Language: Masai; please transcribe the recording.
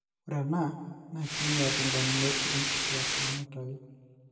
ore ena na kinyial indamunot onkituak nanutayu.